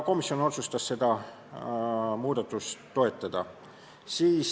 Komisjon otsustas seda muudatust toetada.